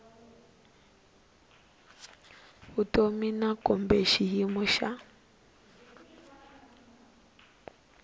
vutomi na kumbe xiyimo xa